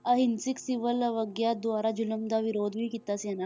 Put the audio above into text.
ਅਹਿੰਸਕ civil ਅਵਗਿਆ ਦੁਆਰਾ ਜ਼ੁਲਮ ਦਾ ਵਿਰੋਧ ਵੀ ਕੀਤਾ ਸੀ ਇਹਨਾਂ